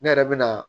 Ne yɛrɛ bɛ na